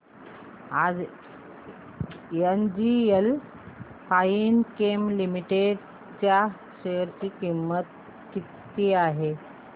आज NGL Fine Chem Limited च्या share ची किंमत किती आहे